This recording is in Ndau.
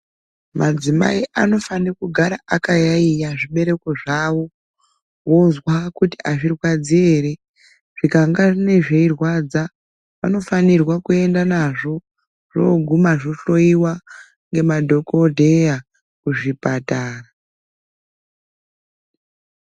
Madzimai anofana kugara akayaiya zvibereko zvavo wozwa kuti azvirwadzi ere. Zvikanga zveirwadza anofanirwa kuenda nazvo, zvooguma zvohloiwa nemadhokodheya kuzvipatara.